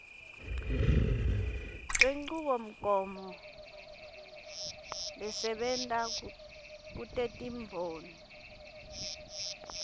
lwenchubomgomo lesebenta kutetimboni